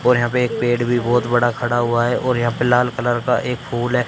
और यहां पे एक पेड़ भी बहोत बड़ा खड़ा हुआ है और यहां पे लाल कलर का एक फूल है।